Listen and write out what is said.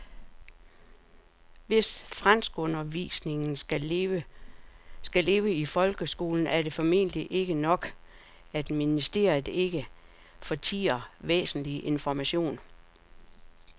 Hvis franskundervisningen skal leve i folkeskolen er det formentlig ikke nok, at ministeriet ikke fortier væsentlig information.